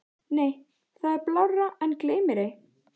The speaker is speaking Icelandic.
Nei það er blárra en gleymmérei.